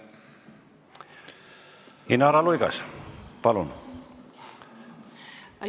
Inara Luigas, palun!